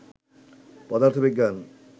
পদার্থবিজ্ঞান